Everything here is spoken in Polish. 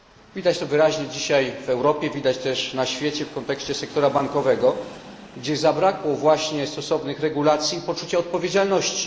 Widać to wyraźnie dzisiaj w Europie, widać też na świecie w kontekście sektora bankowego, gdzie zabrakło właśnie stosownych regulacji i poczucia odpowiedzialności.